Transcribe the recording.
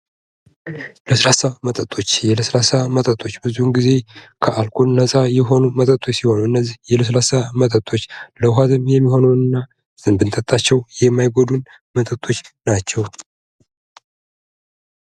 ለስላሳ መጠጦች የለስላሳ መጠጦች ብዙውን ጊዜ ከአልኮል ነፃ የሆኑ መጠጦች ሲሆኑ እነዚህ የለስላሳ መጠጦች ለዉሃ ገንቢ የሚሆነውን እና ብንጠጣቸው የማይጎዱን መጠጦች ናቸው::